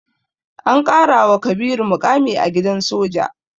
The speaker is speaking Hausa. An ƙarawa Kabiru muƙami a gidan soja.